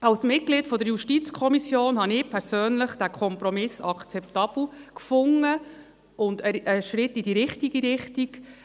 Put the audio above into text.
Als Mitglied der JuKo fand ich persönlich diesen Kompromiss akzeptabel und einen Schritt in die richtige Richtung.